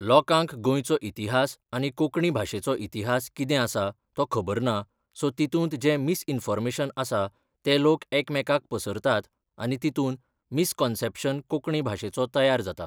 लोकांक गोंयचो इतिहास आनी कोंकणी भाशेचो इतिहास कितें आसा तो खबर ना सो तितूंत जें मिसइन्फाॅर्मेशन आसा तें लोक एकमेकाक पसरतात आनी तितून मिसकाॅन्सेप्शन कोंकणी भाशेचो तयार जाता